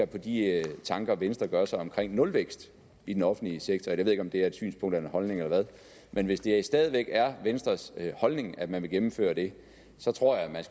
på de tanker venstre gør sig omkring nulvækst i den offentlige sektor jeg ved ikke om det er et synspunkt eller en holdning eller hvad men hvis det stadig væk er venstres holdning at man vil gennemføre det så tror jeg